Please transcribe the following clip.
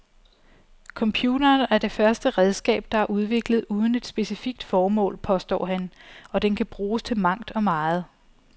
Computeren er det første redskab, der er udviklet uden et specifikt formål, påstår han, og den kan bruges til mangt og meget.